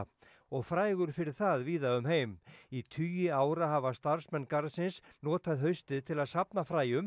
og frægur fyrir það víða um heim í tugi ára hafa starfsmenn garðsins notað haustið til að safna fræjum